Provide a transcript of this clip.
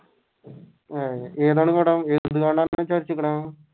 ഏതാണ് കട